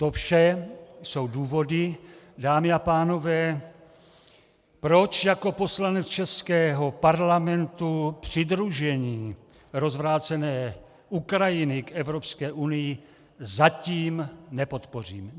To vše jsou důvody, dámy a pánové, proč jako poslanec českého Parlamentu přidružení rozvrácené Ukrajiny k Evropské unii zatím nepodpořím.